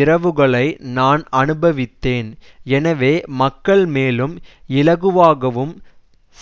இரவுகளை நான் அனுபவித்தேன் எனவே மக்கள் மேலும் இலகுவாகவும்